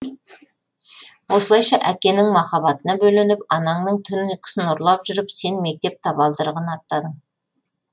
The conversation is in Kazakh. осылайша әкенің махаббатына бөленіп анаңның түн ұйқысын ұрлап жүріп сен мектеп табалдырығын аттадың